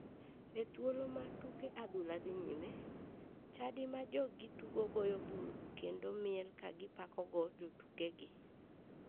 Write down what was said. E thuolo ma tuke mag adhula dhi nyime, chadi ma joggi tugo goyo bul kendo miel ka gipakogo jotukegi.